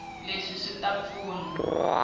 leswi swi ta pfuna ku